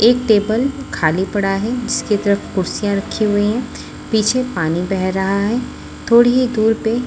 एक टेबल खाली पड़ा है जिसके तरफ कुर्सियां रखी हुई है पीछे पानी बह रहा है थोड़ी ही दूर पे--